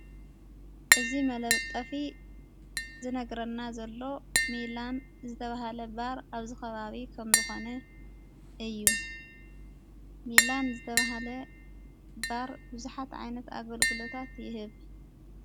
እዝ መለብጠፊ ዝነግረና ዘሎ ሚላን ዝተብሃለ ባር ኣብዝ ኸባዊ ከም ዝኾነ እዩ ሚላን ዝተብሃለ ባር ብዙኃት ዓይነት ኣገልግሎታት ይህብ።